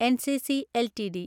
NCC LTD